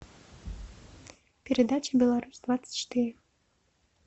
передача беларусь двадцать четыре